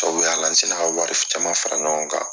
Tɔw y'a la n sina ka wari caman fara ɲɔgɔn kan.